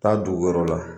Taa dugu wɛrɛ la